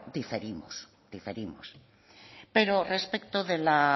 diferimos pero respecto de la